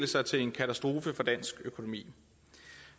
sig til en katastrofe for dansk økonomi